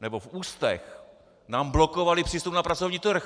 nebo v ústech, nám blokovali přístup na pracovní trh!